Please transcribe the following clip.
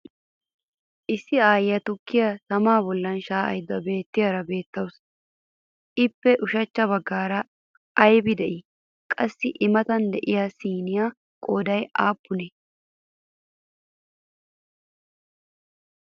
Issi aayyiya tukkiya tamaa bollan shaa'aydda beettiyaara beettawusu ippe ushachcha baggaara aybee de'iyay? Qassi i Matan de'iyaa siniyawu qooday aappunee?